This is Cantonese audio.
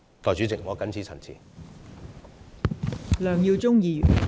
代理主席，我謹此陳辭。